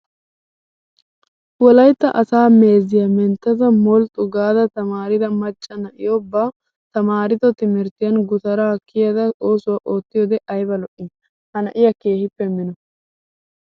Wolayittaa asaa meeziyaa menttada molxxu gaada tamaarida macca na''iyaa ba taamaardo timirttiyan gutaara kiyada oosuwaa ootiyoode ayiba lo''ii. Ha na''iyaa keehippe mino.